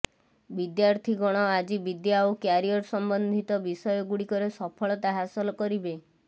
ବିଦ୍ୟାର୍ଥୀ ଗଣ ଆଜି ବିଦ୍ୟା ଓ କ୍ୟାରିୟର ସମ୍ବନ୍ଧିତ ବିଷୟ ଗୁଡ଼ିକରେ ସଫଳତା ହାସଲ କରିବେ